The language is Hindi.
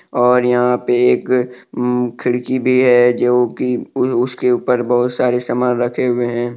और यहां पे एक अम खिड़की भी है जो कि उन उसके ऊपर बहुत सारे सामान रखे हुए हैं।